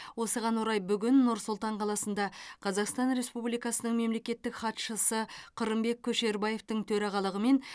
осыған орай бүгін нұр сұлтан қаласында қазақстан республикасының мемлекеттік хатшысы қырымбек көшербаевтың төрағалығымен